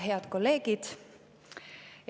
Head kolleegid!